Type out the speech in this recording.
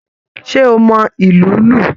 Ṣe o mọ ilù lu?